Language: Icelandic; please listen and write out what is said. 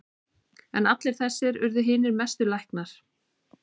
En allir þessir urðu hinir mestu læknar.